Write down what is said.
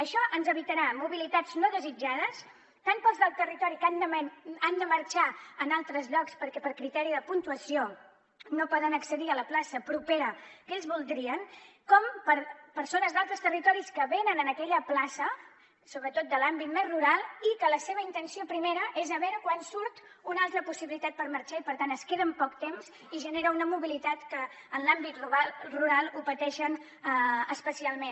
això ens evitarà mobilitats no desitjades tant per als del territori que han de marxar a altres llocs perquè per criteri de puntuació no poden accedir a la plaça propera que ells voldrien com per a persones d’altres territoris que venen a aquella plaça sobretot de l’àmbit més rural i que la seva intenció primera és a veure quan surt una altra possibilitat per marxar i per tant es queden poc temps i genera una mobilitat que en l’àmbit rural ho pateixen especialment